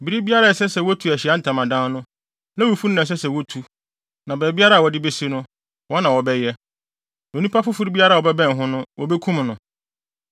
Bere biara a ɛsɛ sɛ wotu Ahyiae Ntamadan no, Lewifo no na ɛsɛ sɛ wotutu, na baabiara a wɔde besi no, wɔn na wɔbɛyɛ. Onipa foforo biara a ɔbɛbɛn ho no, wobekum no.